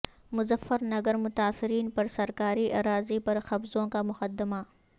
مظفرنگر متاثرین پر سرکاری اراضی پر قبضوں کا مقدمہ